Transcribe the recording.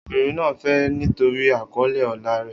Obìnrin náà fẹ́ ẹ nítorí àkọlé ọlá rẹ̀.